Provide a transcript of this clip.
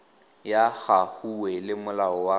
ya hague le molao wa